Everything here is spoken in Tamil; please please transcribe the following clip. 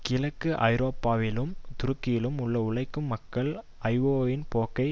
கிழக்கு ஐரோப்பாவிலும் துருக்கியிலும் உள்ள உழைக்கும் மக்கள் ஐஓவின் போக்கை